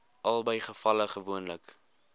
albei gevalle gewoonlik